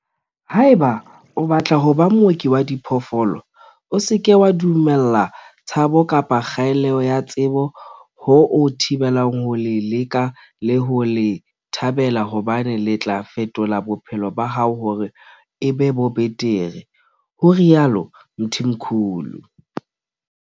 Haeba o batla ho ba mooki wa diphoofolo, o se ke wa dumella tshabo kapa kgaello ya tsebo ho o thibela ho le leka le ho le thabela hobane le tla fetola bophelo ba hao hore e be bo betere, ho rialo Mthimkhulu.